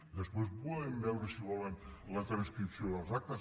després podem veure si ho volen la transcripció de les actes